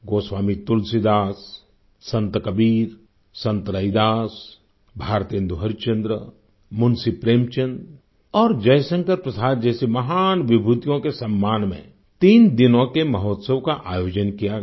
गोस्वामी तुलसीदास संत कबीर संत रैदास भारतेन्दु हरिश्चंद्र मुंशी प्रेमचंद और जयशंकर प्रसाद जैसी महान विभूतियों के सम्मान में तीन दिनों के महोत्सव का आयोजन किया गया